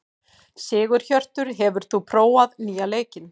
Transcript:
Sigurhjörtur, hefur þú prófað nýja leikinn?